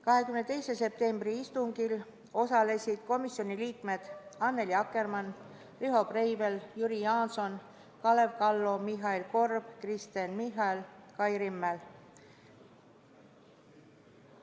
22. septembri istungil osalesid komisjoni liikmed Annely Akkermann, Riho Breivel, Jüri Jaanson, Kalev Kallo, Mihhail Korb, Kristen Michal ja Kai Rimmel.